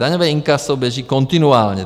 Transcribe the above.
Daňové inkaso běží kontinuálně.